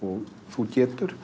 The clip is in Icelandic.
þú getur